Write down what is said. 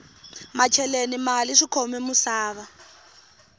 macheleni mali swikhome musava